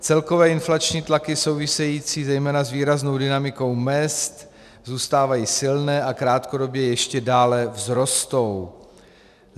Celkové inflační tlaky související zejména s výraznou dynamikou mezd zůstávají silné a krátkodobě ještě dále vzrostou.